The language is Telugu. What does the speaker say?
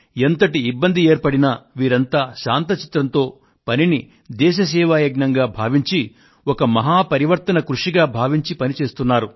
ఎంతటి ఇబ్బంది ఏర్పడినా వీరంతా శాంత చిత్తంతో ఈ పనిని దేశ సేవా యజ్ఞంగా భావించి ఒక మహా పరివర్తన కృషిగా భావించి పని చేస్తున్నారు